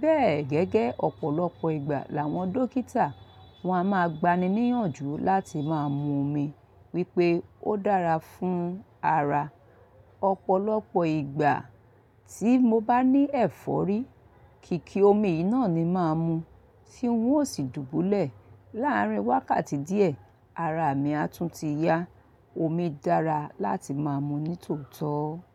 Bẹ́ẹ̀ gẹ́gẹ́ ọ̀pọ̀lọpọ̀ ìgbà làwọn dókítà wọ́n a máa gbani níyànjú láti máa mu omi wípé ó dára fún ara. Ọ̀pọ̀lọpọ̀ ìgbà tí mo bá ní ẹ̀fọ́rí, kìkì omi yìí náà ni màá mu, tí nwọ́n ó sì dùbúlẹ̀. Láàárín wákàtí díẹ̀, ara mi á tún ti yá. Omi dára láti máa mu ní tòótọ́.